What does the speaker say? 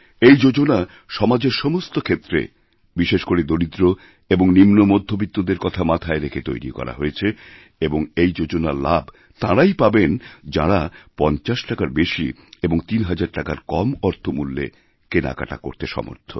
এই যোজনা সমাজের সমস্ত ক্ষেত্রে বিশেষ করে দরিদ্র এবং নিম্নমধ্যবিত্তদের কথা মাথায় রেখে তৈরি করা হয়েছে এবং এইযোজনার লাভ তাঁরাই যাঁরা ৫০ টাকার বেশি এবং তিন হাজার টাকার কম অর্থমূল্যেকেনাকাটা করতে সমর্থ